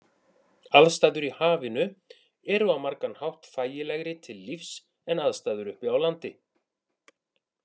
Aðstæður í hafinu eru á margan hátt þægilegri til lífs en aðstæður uppi á landi.